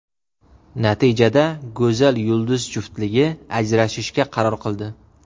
Natijada go‘zal yulduz juftligi ajrashishga qaror qildi.